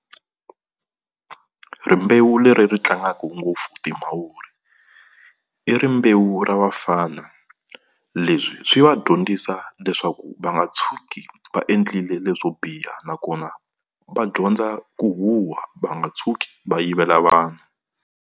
Rimbewu leri tlangaka ngopfu timavuri i rimbewu ra vafana. Leswi swi va dyondzisa leswaku va nga tshuki va endlile leswo biha nakona va dyondza ku huha va nga tshuki va yivela vanhu.